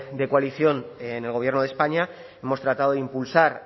de coalición en el gobierno de españa hemos tratado de impulsar